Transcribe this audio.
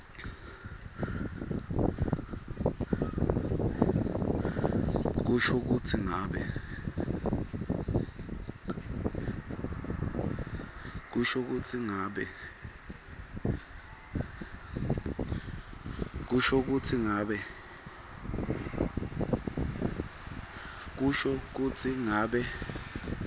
kusho kutsi ngabe